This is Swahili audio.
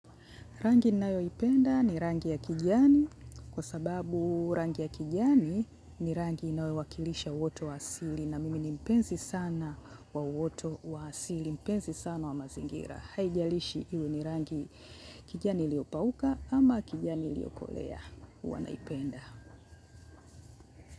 Rangi ninayoipenda ni rangi ya kijani kwa sababu rangi ya kijani ni rangi inayowakilisha uoto wa uasili, na mimi ni mpenzi sana wa uoto wa uasili, mpenzi sana wa mazingira. Haijalishi iwe ni rangi ya kijani iliyopauka ama kijani iliyokolea, huwa naipenda.